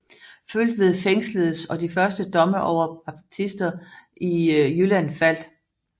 Føltved fængsledes og de første domme over baptister i Jylland faldt